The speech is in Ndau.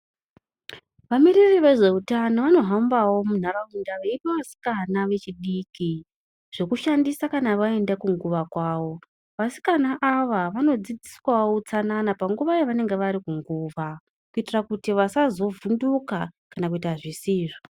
Vamiriri vezveutano vanohambawo munharaunda veipa vasikana vechidiki zvokushandisa kana vaende kunguva kwavo. Vasikana ava vanodzidziswawo utsanana panguva yavanenge vari kunguva, kuitira kuti vasazovhunduka kana kuita zvisizvo.